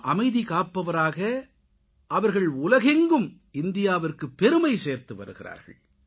அமைதி காப்பவராக அவர்கள் உலகெங்கும் இந்தியாவிற்குப் பெருமை சேர்த்துவருகிறார்கள்